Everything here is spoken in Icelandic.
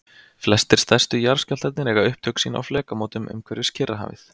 Flestir stærstu jarðskjálftarnir eiga upptök sín á flekamótum umhverfis Kyrrahafið.